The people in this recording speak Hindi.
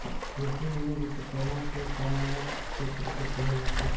ऋषि मनु विष्वकर्मा ये सानग गोत्र के कहे जाते है